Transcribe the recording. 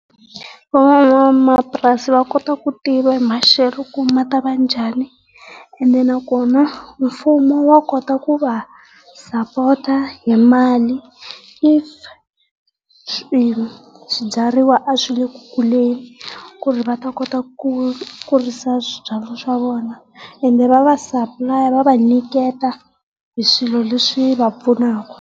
Van'wamapurasi va kota ku tiva hi maxelo ku ma tava njhani ene nakona mfumo wa kota ku va sapota hi mali if swi swibyariwa a swi le ku kuleni ku ri va ta kota ku kurisa swibyariwa swa vona. Ene va va va va nyiketa hi swilo leswi va pfunaka.